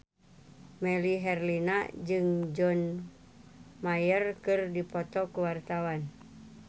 Melly Herlina jeung John Mayer keur dipoto ku wartawan